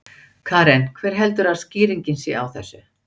Karen: Hver heldurðu að skýringin sé á þessu?